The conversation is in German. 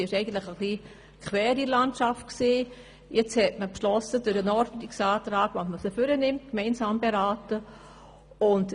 Aufgrund meines Ordnungsantrags hat man beschlossen, die Wasserstrategie und unsere Motion gemeinsam zu beraten.